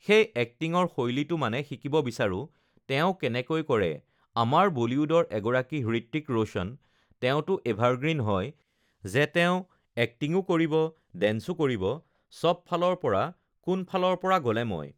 সেই এক্টিঙৰ শৈলীটো মানে শিকিব বিচাৰোঁ তেওঁ কেনেকৈ কৰে আমাৰ বলীউডৰ এগৰাকী হৃত্বিক ৰ'শ্বন তেওঁটো এভাৰগ্ৰীণ হয় যে তেওঁ এক্টিঙো কৰিব, ডেঞ্চো কৰিব, সব ফালৰ পৰা কোনফালৰ পৰা গ'লে মই